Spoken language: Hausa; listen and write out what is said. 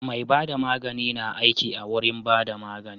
Mai bada magani na aiki awurin bada magani